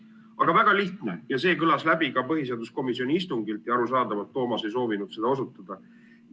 Aga väga lihtne, see kõlas läbi ka põhiseaduskomisjoni istungil ja arusaadavalt Toomas ei soovinud sellele osutada.